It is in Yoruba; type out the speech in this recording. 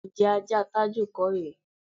Ǹjé̩ ajá Tájù kò rè é?